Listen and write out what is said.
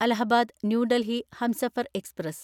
Allahabad New Delhi Humsafar express